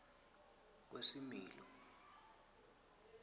kwesimilo